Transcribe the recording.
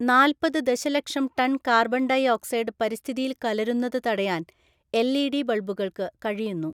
നാല്‍പത് ദശലക്ഷം ton‍ carbon‍ dioxide പരിസ്ഥിതിയില്‍ കലരുന്നത് തടയാന്‍ എല്‍.ഇ.ഡി. ബള്‍ബുകള്‍ക്കു കഴിയുന്നു.